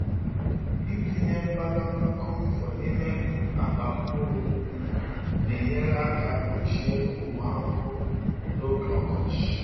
Ịtinye mbadamba camphor n’ime um akpa mkpụrụ um na-enyere aka gbochie ụmụ ahụhụ um n’oge ọkọchị.